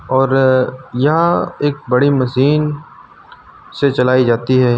और यहां एक बड़ी मशीन से चलाई जाती है।